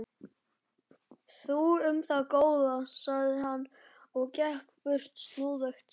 Þú um það, góða, sagði hann og gekk burt snúðugt.